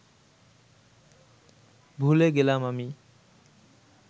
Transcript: ভুলে গেলাম আমি